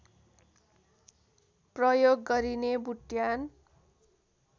प्रयोग गरिने बुट्यान